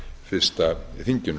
fyrsta þinginu